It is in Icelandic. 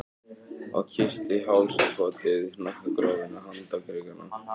Og kyssti hálsakotið, hnakkagrófina, handarkrikana.